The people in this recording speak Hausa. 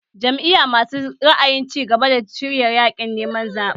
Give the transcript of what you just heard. Jam’iyar masu ra'ayin cigaba ta shirya yaƙin neman zaɓen